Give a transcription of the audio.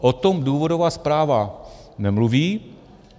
O tom důvodová zpráva nemluví.